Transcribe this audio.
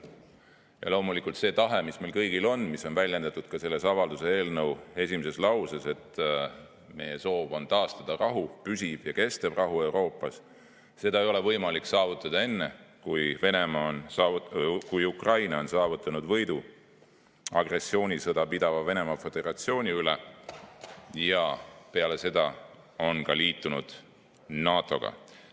Ja loomulikult see tahe, mis meil kõigil on ja mis on väljendatud ka selle avalduse eelnõu esimeses lauses, et meie soov on taastada püsiv ja kestev rahu Euroopas – seda ei ole võimalik saavutada enne, kui Ukraina on saavutanud võidu agressioonisõda pidava Venemaa Föderatsiooni üle ja peale seda liitunud NATO-ga.